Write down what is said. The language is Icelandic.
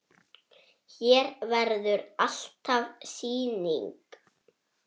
Hér verður alltaf sýning.